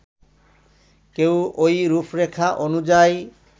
কেউ ওই রূপরেখা অনুযায়ী